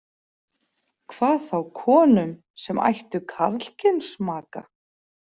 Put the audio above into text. Hvað þá konum sem ættu karlkyns maka.